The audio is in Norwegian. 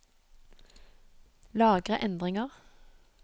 Lagre endringer